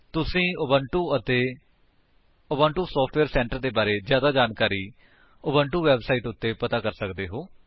ਤੁਸੀ ਉਬੁੰਟੂ ਅਤੇ Ubuntu software centre ਦੇ ਬਾਰੇ ਵਿੱਚ ਜਿਆਦਾ ਜਾਣਕਾਰੀ ਉਬੁੰਟੂ ਵੇਬਸਾਈਟ ਉੱਤੇ ਪਤਾ ਕਰ ਸਕਦੇ ਹੋ